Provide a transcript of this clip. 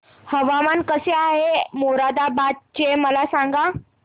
हवामान कसे आहे मोरादाबाद चे मला सांगा